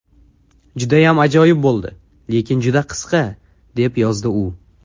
Judayam ajoyib bo‘ldi, lekin juda qisqa”, deb yozdi u.